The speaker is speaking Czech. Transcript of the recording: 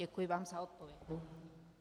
Děkuji vám za odpověď.